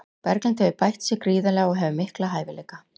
Berglind hefur bætt sig gríðarlega og hefur mikla hæfileika.